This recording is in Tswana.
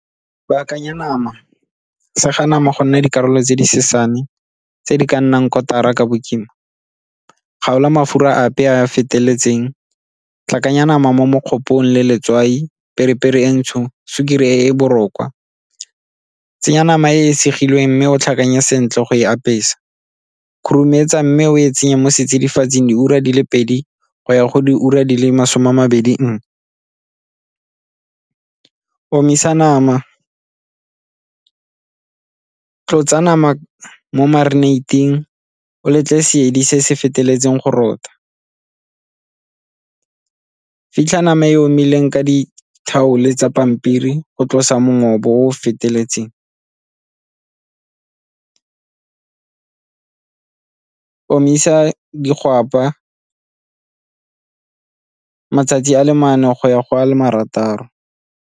Baakanya nama, sega nama gonne dikarolo tse di sesane tse di ka nnang kotara ka bokima, kgaola mafura ape a a feteletseng, tlhakanya nama mo le letswai, periperi e ntsho, sukiri e . Tsenya nama e e segilweng mme o tlhakanye sentle go e apesa, khurumetsa mme o e tsenya mo setsidifatsing diura di le pedi go ya go diura di le masome a mabedi nngwe. Omisa nama, tlotsa nama mo marinate-ting o letle se se feteletseng go rotha, fitlha nama e omileng ka di-towel-e tsa pampiri go tlosa o feteletseng, omisa digwapa matsatsi a le mane go ya go a le marataro.